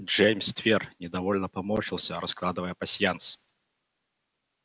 джеймс твер недовольно поморщился раскладывая пасьянс